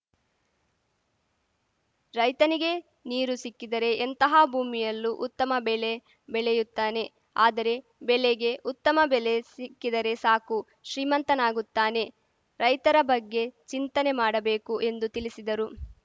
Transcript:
ರೈತನಿಗೆ ನೀರು ಸಿಕ್ಕಿದರೆ ಎಂತಹ ಭೂಮಿಯಲ್ಲೂ ಉತ್ತಮ ಬೆಲೆ ಬೆಲೆಯುತ್ತಾನೆ ಆದರೆ ಬೆಲೆಗೆ ಉತ್ತಮ ಬೆಲೆ ಸಿಕ್ಕಿದರೆ ಸಾಕು ಶ್ರೀಮಂತನಾಗುತ್ತಾನೆ ರೈತರ ಬಗ್ಗೆ ಚಿಂತನೆ ಮಾಡಬೇಕು ಎಂದು ತಿಳಿಸಿದರು